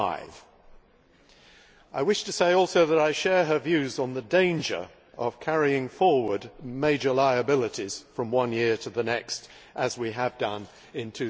5. I wish to say also that I share her views on the danger of carrying forward major liabilities from one year to the next as we have done in